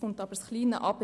Doch nun kommt das Aber.